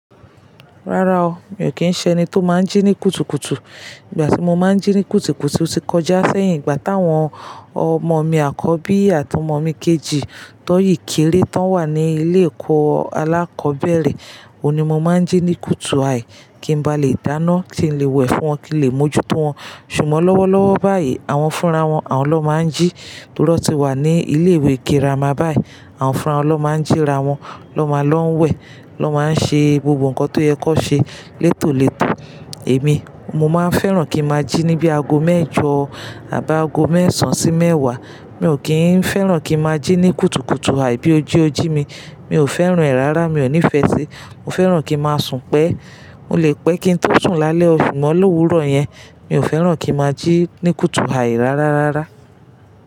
Rárá o, mi ò kí ń ṣẹ eni tó máa ń jí ní kùtùkùtù. Ìgbà tí mo máa ń jí ní kùtùkùtù ti kọjá sẹ́yìn ìgbà táwọn ọmọ mi àkọ́bí àti ọmọ mi kejì tọ́ yìí kéré tán wà ní ilé ẹ̀kọ́ alákọ̀ọ́bẹ̀rẹ̀, òun ní mo máa ń jí ní kùtù àì kí ń ba lè dáná tí ń le wẹ̀ fún wọn kí lè mójú tó wọn. Ṣùgbọ́n lọ́wọ́ lọ́wọ́ báyìí àwọn fúnra wọn, àwọn ló máa ń jí torí wón ti wà ní ilé ìwé girama báyìí. Àwọn fúnra wọn ló máa ń jíra wọn, lọ́ máa lọ wẹ̀, lọ máa ń ṣe gbogbo nǹkan tó yẹ ki won ṣe létòletò. Èmi mo máa ń fẹ́ràn kí n máa jí ní bí aago mẹ́ẹ̀jọ àbá aago mẹ́sàn sí mẹ́wàá. Mi ò kí ń fẹ́ràn kí n máa jí ní kùtùkùtù àì bí oji oji mi. Mi ò fẹ́ràn rẹ̀ rárá, mi ò nífẹ̀ẹ́ síi. Mo fẹ́ràn kí n máa sùn pẹ́. Mo lè pẹ́ kí ń tó sùn lálẹ́ o, sugbon lọ́wúrọ̀ yẹn. Mi ò fẹ́ràn kí n máa jí ní kùtù àì rárárárá.